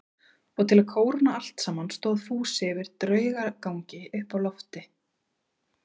Og til að kóróna allt saman stóð Fúsi fyrir draugagangi uppi á lofti.